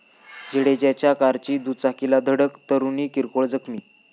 जडेजाच्या कारची दुचाकीला धडक, तरुणी किरकोळ जखमी